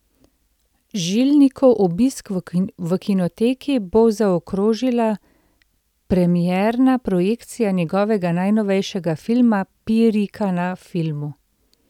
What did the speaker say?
Žilnikov obisk v kinoteki bo zaokrožila premierna projekcija njegovega najnovejšega filma Pirika na filmu.